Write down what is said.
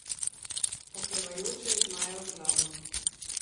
Oklevajoče je zmajal z glavo.